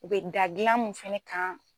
U bɛ da gilan mun fɛnɛ kan